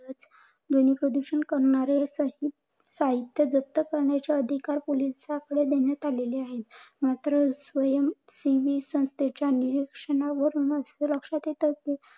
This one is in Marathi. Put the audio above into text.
ध्वनी प्रदूषण करणारे साहित्य जप्त करण्याचे अधिकार पोलिसांकडे देण्यात आलेले आहेत. मात्र स्वयंसेवी संस्थेच्या निरीक्षणावरून अस लक्षात येते. कि